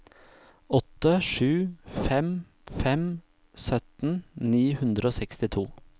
åtte sju fem fem sytten ni hundre og sekstito